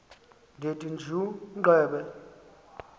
ndithi tjhu gqebe